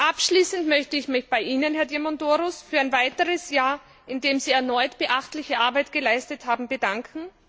Abschließend möchte ich mich bei Ihnen, Herr Diamandouros, für ein weiteres Jahr, in dem Sie erneut beachtliche Arbeit geleistet haben, bedanken.